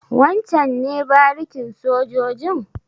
Wancen ne barikin sojojin?